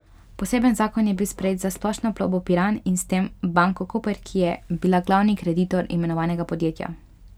Poseben zakon je bil sprejet za Splošno plovbo Piran in s tem Banko Koper, ki je bila glavni kreditor imenovanega podjetja.